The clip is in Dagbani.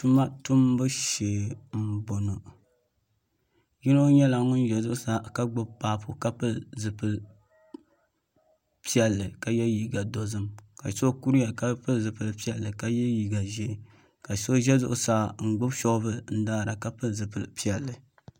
Tuma tumbu shɛɛ n bɔŋɔ yino yɛla ŋuni za zuɣusaa ka gbubi papu ka pili zupiligu piɛlli ka yiɛ liiga dozim ka so kuriya ka pili zupiligu piɛlli ka yiɛ liiga zɛɛ ka so zɛ zuɣusaa n gbubi shɔvili n daara ka pili zupiligu piɛlli.